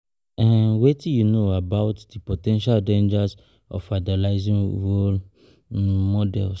ehn] Wetin you know about di po ten tial dangers of idolizing role um models?